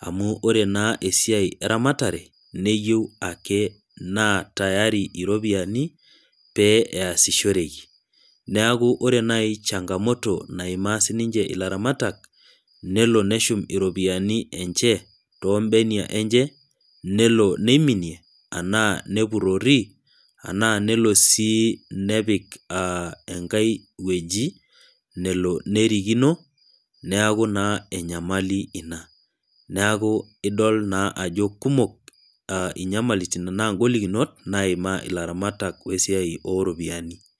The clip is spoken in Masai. amu ore naa esiai eramaatare neyeiu ake naa tayari iropiyiani pee easishoreki, ore naaji changamoto naimaa siininche ilaramatak nelo neshum iropiyiani enche toombenia enche, nelo neiminie enaa nepurori enaa nepik enkae weji nelo nerikino neeku naa enyamali ina. neeku naa kumok inyamalit naima ilaramatak wesiai ooropyiani.